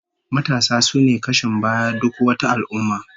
Matasa sune kashin bayan duk wata al'ummah